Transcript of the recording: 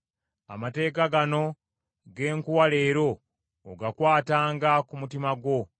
Amateeka gano ge nkuwa leero ogakwatanga ku mutima gwo.